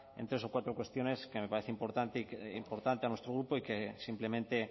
en tres o cuatro cuestiones que nos parece importante a nuestro grupo y que simplemente